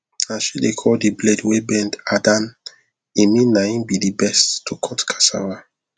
na she dey call the blade wey bend adan e mean na him be the best to cut casava